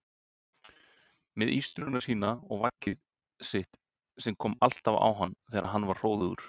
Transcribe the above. Með ístruna sína og vaggið sitt sem kom alltaf á hann þegar hann var hróðugur.